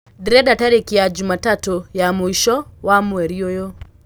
ndĩrenda tarĩkĩ ya jumatatũ ya mwico wa mwerĩ uyu